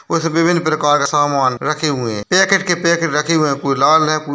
कुछ विभिन्न प्रकार के सामान रखे हुए हैं पैकेट के पैकेट रखे हुए हैं कुछ लाल है कुछ --